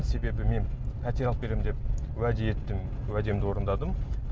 себебі мен пәтер алып беремін деп уәде еттім уәдемді орындадым